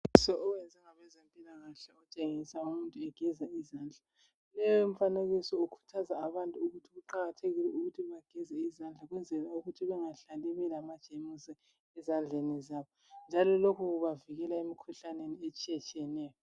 Umfanekiso owenzwa ngabezempilakahle otshengisa umuntu egeza izandla leyo mfanekiso ikhuthaza abantu ukuthi kuqakathekile ukuthi bageze izandla ukwenzela ukuthi benga hlali belama jemusi ezandleni zabo njalo lokhu kubavikela emkhuhlaneni etshiya tshiyeneyo.